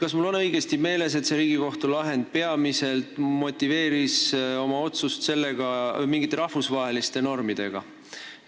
Kas mul on õigesti meeles, et Riigikohus põhjendas oma otsust peamiselt mingite rahvusvaheliste normidega?